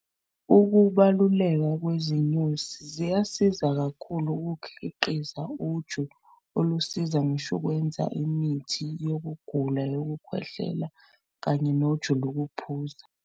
Ukubaluleka kwezinyosi ziyasiza kakhulu ukukhiqiza uju olusiza ngisho ukwenza imithi yokugula yokukhwehlela kanye noju lokuphuza.